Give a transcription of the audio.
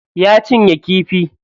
Ya cinye kifi.